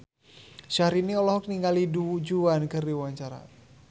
Syahrini olohok ningali Du Juan keur diwawancara